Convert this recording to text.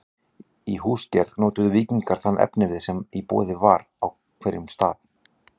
Í húsagerð notuðu víkingar þann efnivið sem var í boði á hverjum stað.